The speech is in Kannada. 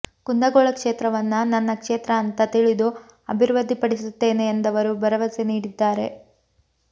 ಕುಂದಗೋಳ ಕ್ಷೇತ್ರವನ್ನ ನನ್ನ ಕ್ಷೇತ್ರ ಅಂತಾ ತಿಳಿದು ಅಭಿವೃದ್ದಿಪಡಿಸುತ್ತೇನೆ ಎಂದವರು ಭರವಸೆ ನೀಡಿದ್ದಾರೆ